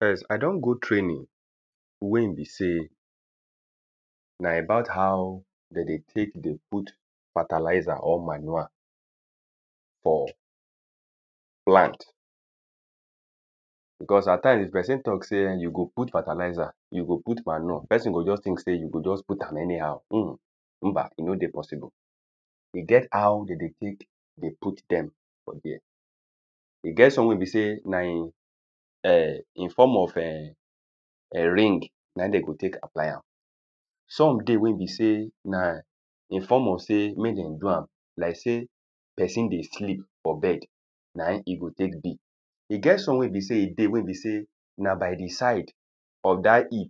first i don go training wen be sey na about how de tek dey put fertilizer or manure for plant because at times pesin talk sey den go put fertilizer den go put manure pesin go just tink sey u go just put am anyhow [hunhun] [mba] e no dey possible e get how de dey tek dey put dem for there e get some wen be sey na in form of en ring na in den go tek tie am some dey wen be sey na in form of sey mek dem do am like sey pesin dey sleep for bed na in e go tek be e get some wen be sey e dey we be sey na by di side of dat hip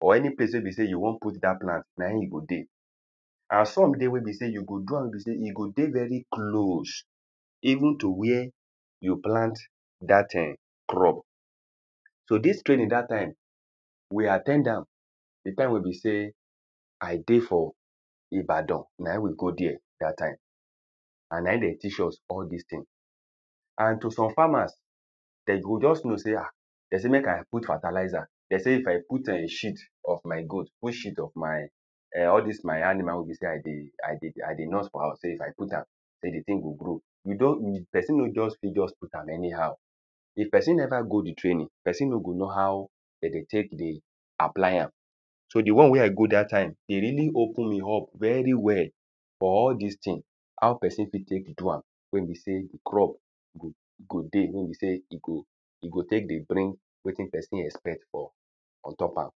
or any place we be sey u won put dat plant nain you go dey and some dey wen be sey you go do am wen be sey e go dey very close even to where you plant dat um crops so dis training dat time we at ten d am di time we be sey i dey for [ibadan] nain we go there dat time and in den teach us all dis tin and to some farmers den go jus know say ah de sey make i put fertalizer de sey if i put eh shit of my goat put shit of my eh all dis my animal wen be sey i dey i dey i dey nurse for house wen be sey if i put am sey di tin go grow u jus pesin no just fit just put am anyhow if pesin neva go di training pesin no go knw how de dey tek dey apply am so di won wen i go dat time dey really open me up very well for all dis tin how pesin fit tek do am wen be sey di crop we be se go dey we bi sey e go e go tek dey bring wetin pesin expect from ontop am